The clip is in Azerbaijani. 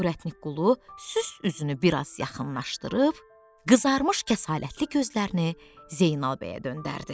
Ürətnik Qulu sükk üstünü bir az yaxınlaşdırıb, qızarmış kəsalətli gözlərini Zeynal bəyə döndərdi.